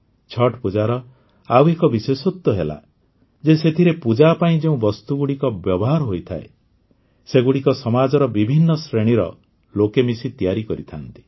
ଛଠ୍ ପୂଜାର ଆଉ ଏକ ବିଶେଷତ୍ୱ ହେଲା ଯେ ସେଥିରେ ପୂଜା ପାଇଁ ଯେଉଁ ବସ୍ତୁଗୁଡ଼ିକ ବ୍ୟବହାର ହୋଇଥାଏ ସେଗୁଡ଼ିକ ସମାଜର ବିଭିନ୍ନ ଶ୍ରେଣୀର ଲୋକେ ମିଶି ତିଆରି କରିଥାନ୍ତି